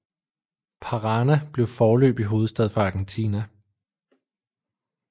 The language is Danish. Parana blev foreløbig hovedstad for Argentina